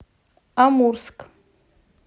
амурск